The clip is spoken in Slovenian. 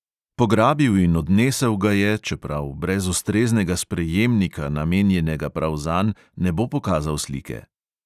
Pograbil in odnesel ga je, čeprav brez ustreznega sprejemnika, namenjenega prav zanj, ne bo pokazal slike.